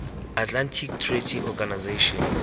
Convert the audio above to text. atlantic treaty organization